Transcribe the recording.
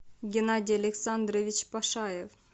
геннадий александрович пашаев